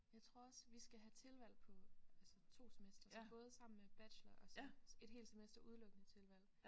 Jeg tror også vi skal have tilvalg på altså 2 semestre så både sammen med bachelor og så et helt semester udelukkende tilvalg